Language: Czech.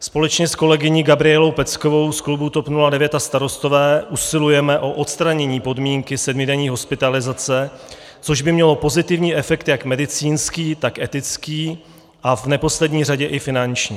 Společně s kolegyní Gabrielou Peckovou z klubu TOP 09 a Starostové usilujeme o odstranění podmínky sedmidenní hospitalizace, což by mělo pozitivní efekt jak medicínský, tak etický, a v neposlední řadě i finanční.